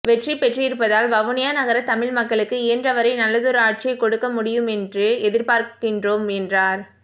வெற்றி பெற்றிருப்பதால் வவுனியா நகர தமிழ் மக்களுக்கு இயன்றவரை நல்லதொரு ஆட்சியைக் கொடுக்க முடியுமென்று எதிர்பார்க்கின்றோம் என்றார்